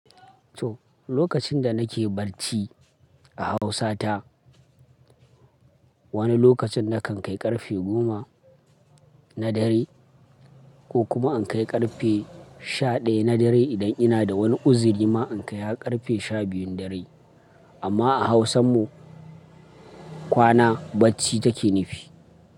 To, lokacin da nake bacci a Hausa ta, wani lokacin na kan kai ƙarfe goma na dare ko kuma in kai ƙarfe sha ɗaya na dare idan ina da wani uzuri ma in kai ƙarfe sha biyun dare. Amma a Hausan mu kwana bacci take nufi.